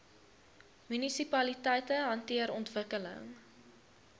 munisipaliteite hanteer ontwikkeling